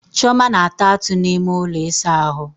Chioma na-ata atụ n'ime ụlọ ịsa ahụ.